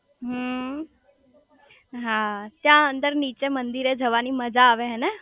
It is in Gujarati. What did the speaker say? હમ્મ હા ત્યાં અંદર નીચે મંદિરે જવાની મજા આવે હેને